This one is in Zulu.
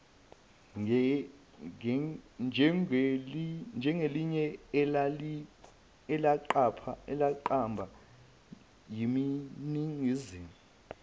njengelinye elaqamba yiningizimu